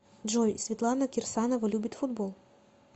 джой светлана кирсанова любит футбол